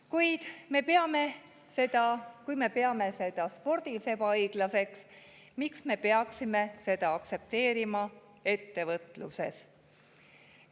Kui me peame seda spordis ebaõiglaseks, siis miks me peaksime seda aktsepteerima ettevõtluses?